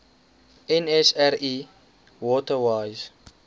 nsri water wise